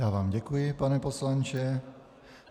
Já vám děkuji, pane poslanče.